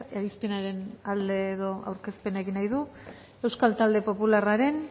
irizpenaren alde edo aurkezpena egin nahi du euskal talde popularraren